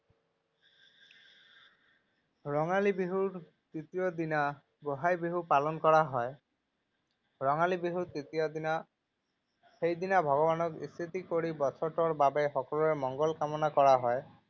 ৰঙালী বিহুৰ তৃতীয় দিনা গোঁসাই বিহু পালন কৰা হয়। ৰঙালী বিহুৰ তৃতীয় দিনা, সেইদিনা ভগৱানক স্তুতি কৰি বছৰটোৰ বাবে সকলোৰে মঙ্গল কামনা কৰা হয়।